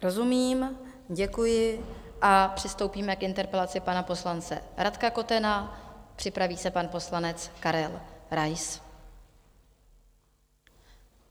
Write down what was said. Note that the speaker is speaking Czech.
Rozumím, děkuji a přistoupíme k interpelaci pana poslance Radka Kotena, připraví se pan poslanec Karel Rais.